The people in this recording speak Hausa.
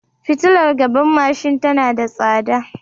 Fitiilar gaban mashin tana da tsada.